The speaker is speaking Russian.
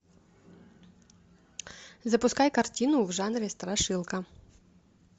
запускай картину в жанре страшилка